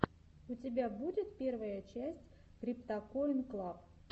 у тебя будет первая часть криптакоин клаб